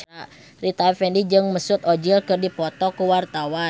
Rita Effendy jeung Mesut Ozil keur dipoto ku wartawan